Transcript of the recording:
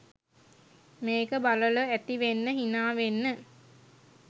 මේක බලල ඇති වෙන්න හිනා වෙන්න.